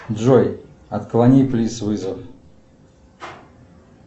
джой отклони плиз вызов